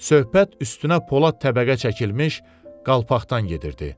Söhbət üstünə Polad təbəqə çəkilmiş qalpaqdan gedirdi.